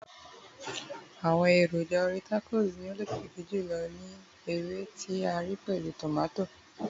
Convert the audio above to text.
àwọn èròjà orí tacos tí o lokiki jùlọ ni ewe ti a ré pẹlu tomato